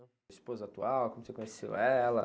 Esposa atual, como que você conheceu ela?